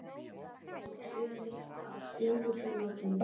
Það er að segja: Ég tók lyfið mitt af stökustu nákvæmni.